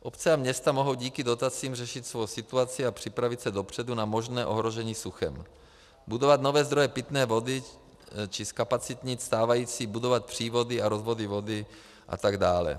Obce a města mohou díky dotacím řešit svou situaci a připravit se dopředu na možné ohrožení suchem, budovat nové zdroje pitné vody či zkapacitnit stávající, budovat přívody a rozvody vody a tak dále.